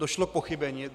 Došlo k pochybení.